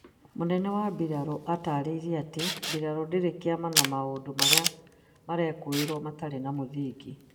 mũnene wa mbirarũ ataraĩirie atĩ mbirarũ ndĩrĩ kĩama na mũndũ marĩa merekũĩrwo matirĩ na mũthingi